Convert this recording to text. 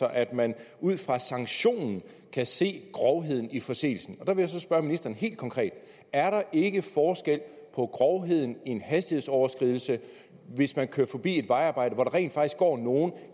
at man ud fra sanktionen kan se grovheden i forseelsen og der vil jeg så spørge ministeren helt konkret er der ikke forskel på grovheden i en hastighedsoverskridelse hvis man kører forbi et vejarbejde hvor der rent faktisk går nogle